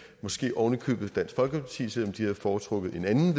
måske vil oven i købet dansk folkeparti selv om de havde foretrukket et andet